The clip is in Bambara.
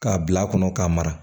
K'a bil'a kɔnɔ k'a mara